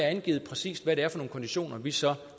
angivet præcis hvad det er for nogle konditioner vi så